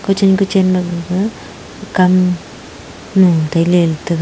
kuchan kachan ma gaga kam lu tailey ley taga.